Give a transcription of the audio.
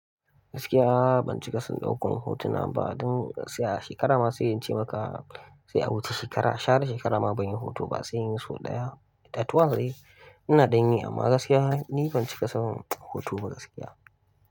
Gaskiya ban cika son ɗaukan hotuna ba, don gaskiya ma a shekara ma sai in ce maka sai a wuce shekara shara shekara ma ban yi hoto ba sai in yi so ɗaya. At once dai ina dan yi amma gaskiya ni ban cika son hoto ba gaskiya.